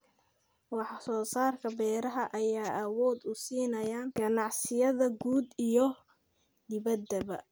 Wax-soo-saarka beeraha ayaa awood u siinaya ganacsiyada gudaha iyo dibaddaba.